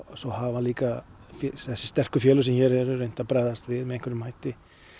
svo hafa líka þessu sterku félög sem hér eru reynt að bregðast við með einhverjum hætti